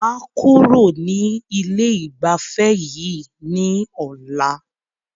Màá kúrò ní ilé ìgbafẹ́ yìí ní ọ̀la.